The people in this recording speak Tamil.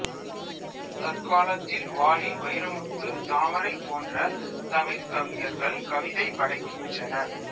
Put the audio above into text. தற்காலத்தில் வாலி வைரமுத்து தாமரை போன்ற தமிழ்க் கவிஞர்கள் கவிதை படைக்கின்றனர்